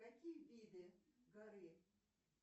какие виды горы